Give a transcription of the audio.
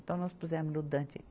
Então, nós pusemos no Dante.